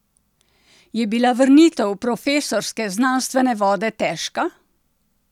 Je bila vrnitev v profesorske, znanstvene vode težka?